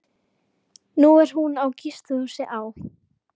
Nú er hún á gistihúsi á